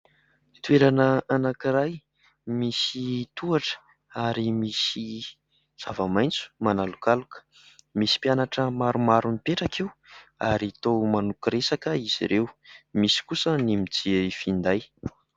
Toerana anankiray misy tohatra, ary misy zava-maitso manalokaloka eo. Misy mpianatra maromaro mipetraka eo ary toa manoko resaka izy ireo, misy kosa ny mijery finday.